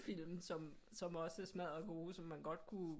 Film som som også er smaddergode som man godt kunne